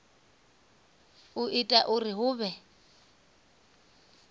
u ita uri hu vhe